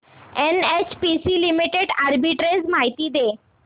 NHPC limited arbitrage माहिती दे